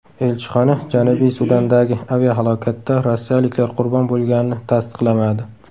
Elchixona Janubiy Sudandagi aviahalokatda rossiyaliklar qurbon bo‘lganini tasdiqlamadi.